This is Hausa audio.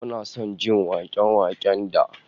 Muna son jin wake-waken da